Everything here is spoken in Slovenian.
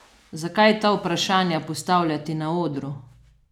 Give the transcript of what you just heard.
Zakaj ta vprašanja postavljati na odru?